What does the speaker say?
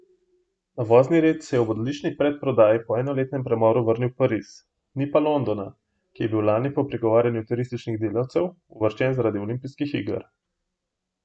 Na vozni red se je ob odlični predprodaji po enoletnem premoru vrnil Pariz, ni pa Londona, ki je bil lani po prigovarjanju turističnih delavcev uvrščen zaradi olimpijskih iger.